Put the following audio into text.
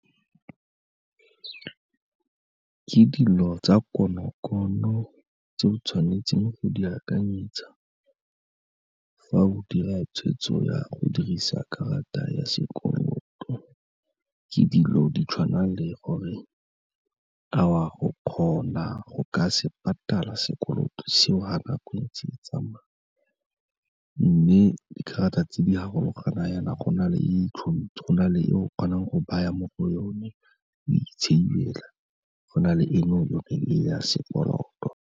Ke dilo tsa konokono tse o tshwanetseng go di akanyetsa fa o dira tshwetso ya go dirisa karata ya sekoloto, ke dilo di tshwana le gore a o a go kgona go ka se patala sekoloto seo fa nako e ntse e tsamaya. Mme dikarata tse di farologana jaana go na le , go na le e o kgonang go baya mo go yone, o e save-ela, go na le eno e ya sekoloto.